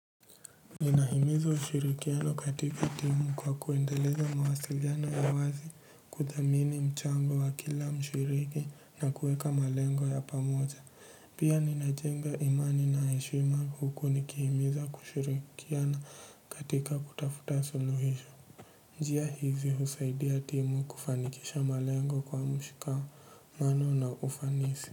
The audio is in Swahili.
Ninahimiza ushirikiano katika timu kwa kuendeleza mawasiliano ya wazi, kuthamini mchango wa kila mshiriki na kuweka malengo ya pamoja pia ninajenga imani na heshima huku nikihimiza kushirikiana katika kutafuta suluhisho njia hizi husaidia timu kufanikisha malengo kwa mshikamano na ufanisi.